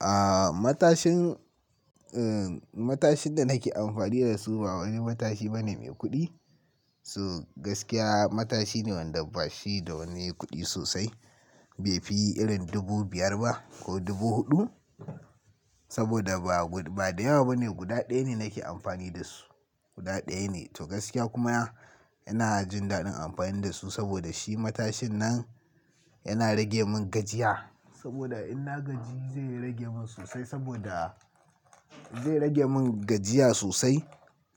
Aaa, matashin, eh, matashin da nake amfani da su ba wani matashi bane mai kuɗi. So gaskiya, matashi ne wanda ba shi da wani kuɗi sosai. Bai fi irin dubu biyar ba ko dubu huɗu. Saboda ba, ba da yawa bane, guda ɗaya ne nake amfani da su. Guda ɗaya ne. To gaskiya kuma ina jin daɗin amfani da su saboda shi matashin nan yana rage mun gajiya. Saboda in na gaji zai rage mun sosai saboda zai rage mun gajiya sosai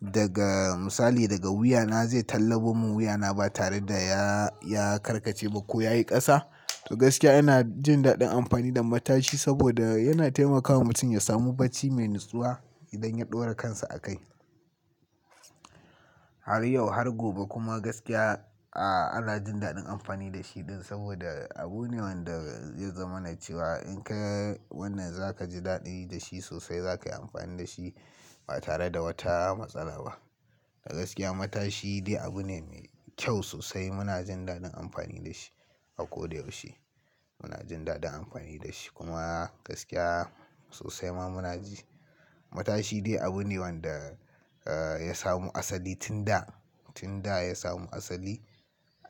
daga misali daga wuya na zai tallabo mun wuya na ba tare da ya, ya karkace ba ko ya yi ƙasa. To gaskiya ina jin daɗin amfani da matashi saboda yana taimakawa mutum ya samu bacci mai natsuwa idan ya ɗora kansa a kai. Har yau har gobe kuma gaskiya, aaa, ana jin daɗin amfani da shi ɗin saboda abu ne wanda zai zamana ce wa. In ka wannan za ka ji daɗi da shi sosai, za ka yi amfani da shi ba tare da wata matsala ba. A gaskiya matashi dai abu ne mai kyau sosai. Muna jin daɗin amfani da shi a ko da yaushe. Muna jin daɗin amfani da shi. Kuma gaskiya sosai ma muna ji matashi dai abu ne wanda, eh, ya samo asali tun da, tun da ya samo asali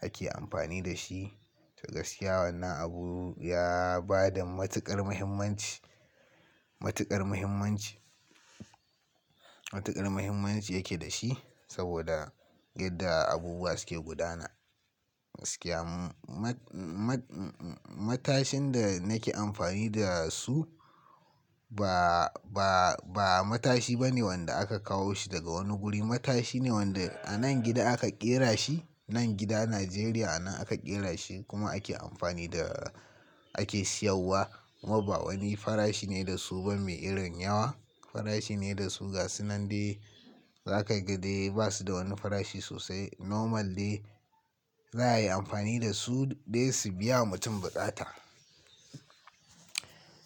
ake amfani da shi. To gaskiya wannan abu ya ba da matuƙar muhimmanci, matuƙar muhimmanci, matuƙar muhimmanci yake da shi saboda yadda abubuwa suke gudana. Gaskiya mu-mu-matashin da nake amfani da su ba, ba, ba matashi bane wanda aka kawo shi daga wani guri. Matashi ne wanda a nan gida aka ƙera shi. Nan gida, Najeriya a nan aka ƙera shi kuma ake amfani da, ake siyarwa. Kuma ba wani farashi ne da su ba mai irin yawa. Farashi ne da su gasu nan dai za ka ga dai ba su da wani farashi sosai. Normal dai za a yi amfani da su dai su biya mutum buƙata.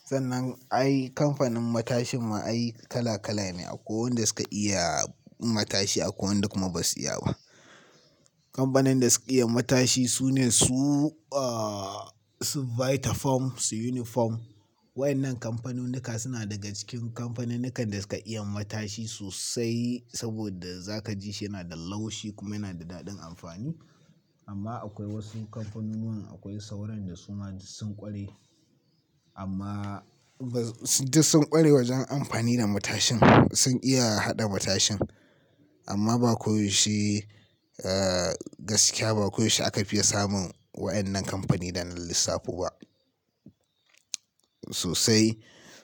Sannan ai kamfanin matashin ma ai kala kala ne akwai wanda suka iya matashi akwai duk kuma ba su iya ba. Kamfanin da su iya matashi su ne su, ah, su Vitafoam su Uniform. Wayannan kamfanunuka suna daga cikin kamfaninukan da suka iya matashi sosai saboda za ka ji shi yana da laushi kuma yana da daɗin amfani. Amma akwai wasu kamfanunuwa akwai sauran da suma du sun ƙware amma bas-d-sun ƙware wajen amfani da matashin. Sun iya haɗa matashin amma ba koyaushe, eh, gaskiya ba koyaushe aka fiya samun waɗannan kamfani na lissafi ba. Sosai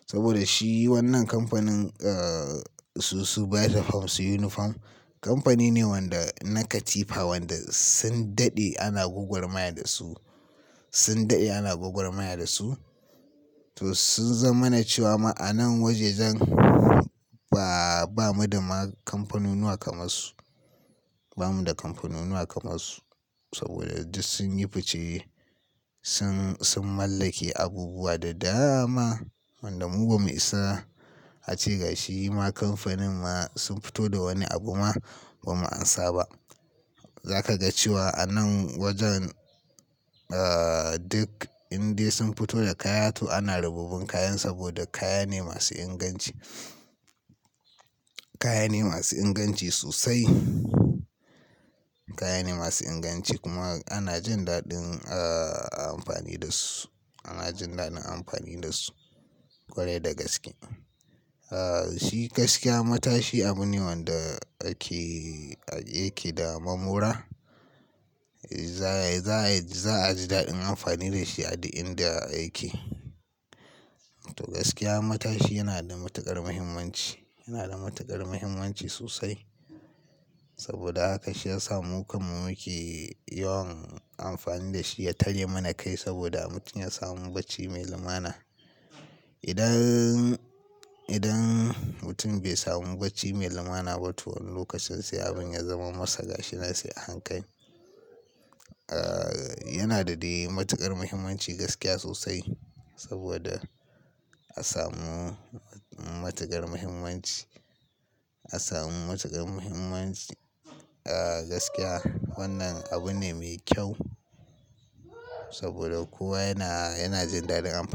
saboda shi wannan kamfanin, eh, su, su Vitafoam su Uniform kamfani ne wanda na katifa wanda sun daɗe ana gwagwarmaya da su. Sun daɗe ana gwagwarmaya da su. To sun zamana cewa ma anan wajejan ba, ba mu da ma kamfanunuwa kamar su. Ba mu da kamfanunuwa kamar su saboda duk sun yi fice. Sun, sun mallake abubuwa da dama wanda mu ba mu isa a ce gashi ma kamfanin ma sun fito da wani abu ma ba mu amsa ba. Za ka ga cewa a nan wajen, eh, duk indai sun fito da kaya to ana rabuɓɓun kayan saboda kaya ne masu inganci. Kaya ne masu inganci sosai. Kaya ne masu inganci kuma ana jin daɗin, eh, amfani da su. Ana jin daɗin amfani da su ƙwarai da gaske. Eh, shi gaskiya matashi abu ne wanda ake, yake da mamora. Za, za, za a ji daɗin amfani da shi a duk inda yake. To gaskiya matashi yana da matuƙar muhimmanci. Yana da matuƙar muhimmanci sosai saboda haka shi ya sa mu kanmu muke yawan amfani da shi ya tare mana kai saboda mutum ya samu bacci mai lumana. Idan, idan mutum bai samu bacci mai lumana ba to wani lokacin sai abin ya zama masa gashi na sai a hankali. Eh, yana da dai matuƙar muhimmanci gaskiya sosai saboda a samu matuƙar muhimmanci. A samu matuƙar muhimmanci. Eh, gaskiya wannan abu ne mai kyau saboda kowa yana, yana jin daɗin amfani.